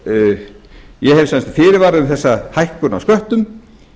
ég hef sem sagt fyrirvara um þessa hækkun á sköttum